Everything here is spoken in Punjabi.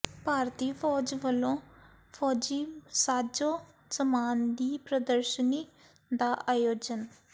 ਭਾਰਤੀ ਫੌਜ ਵੱਲੋਂ ਫੌਜੀ ਸਾਜੋ ਸਮਾਨ ਦੀ ਪ੍ਰਦਰਸ਼ਨੀ ਦਾ ਆਯੋਜਨ